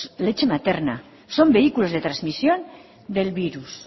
son vehículos de trasmisión del virus